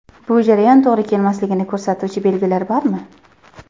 Bu jarayon to‘g‘ri kelmasligini ko‘rsatuvchi belgilar bormi?